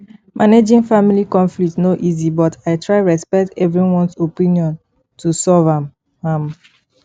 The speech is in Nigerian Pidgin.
managing family conflicts no easy but i try respect everyones opinion to solve am am